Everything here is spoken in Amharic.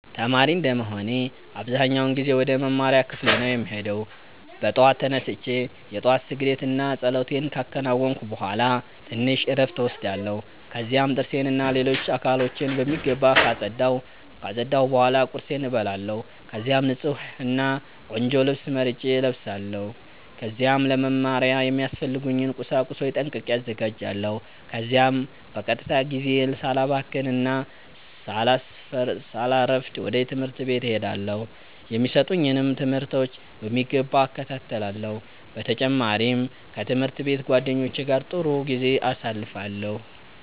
ተማሪ እንደመሆኔ አብዛኛውን ጊዜ ወደ መማሪያ ክፍሌ ነው የምሄደው። በጠዋት ተነስቼ የ ጧት ስግደት እና ፀሎቴን ካከናወንኩ ቡሃላ ትንሽ እረፍት እወስዳለሁ። ከዚያም ጥርሴን እና ሌሎች አካሎቼን በሚገባ ካፀዳሁ ቡሃላ ቁርሴን እበላለሁ። ከዚያም ንፁህ እና ቆንጆ ልብስ መርጬ እለብሳለው። ከዚያም ለ መማሪያ የሚያስፈልጉኝን ቁሳቁሶች ጠንቅቄ አዘጋጃለሁ። ከዚያም በቀጥታ ጊዜዬን ሳላባክን እና ሳላሰፍድ ወደ ትምህርት ቤት እሄዳለው። የሚሰጡኝንም ትምህርቶች በሚገባ እከታተላለሁ። በ ተጨማሪም ከ ትምህርት ቤት ጓደኞቼ ጋ ጥሩ ጊዜ አሳልፋለሁ።